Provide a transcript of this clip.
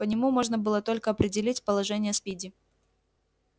по нему можно было только определить положение спиди